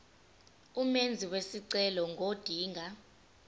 umenzi wesicelo ngodinga